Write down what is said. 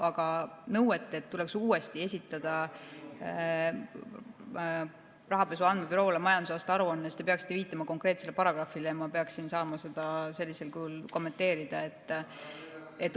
Aga nõue, et tuleks uuesti esitada Rahapesu Andmebüroole majandusaasta aruanne – te peaksite viitama konkreetsele paragrahvile, ma peaksin saama seda sellisel kujul kommenteerida.